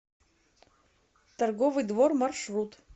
торговый двор маршрут